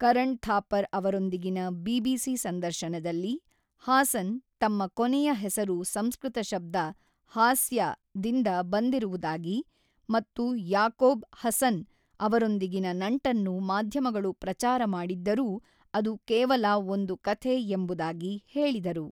ಕರಣ್ ಥಾಪರ್ ಅವರೊಂದಿಗಿನ ಬಿಬಿಸಿ ಸಂದರ್ಶನದಲ್ಲಿ, ಹಾಸನ್ ತಮ್ಮ ಕೊನೆಯ ಹೆಸರು ಸಂಸ್ಕೃತ ಶಬ್ದ ʼಹಾಸ್ಯʼದಿಂದ ಬಂದಿರುವುದಾಗಿ ಮತ್ತು ಯಾಕೋಬ್ ಹಸನ್ ಅವರೊಂದಿಗಿನ ನಂಟನ್ನು ಮಾಧ್ಯಮಗಳು ಪ್ರಚಾರ ಮಾಡಿದ್ದರೂ ಅದು ಕೇವಲ ʼಒಂದು ಕಥೆʼ ಎಂಬುದಾಗಿ ಹೇಳಿದರು.